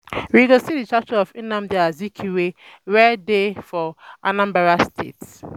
We go see the statue of Nnamdi Azikiwe wey dey um for Anambra um State um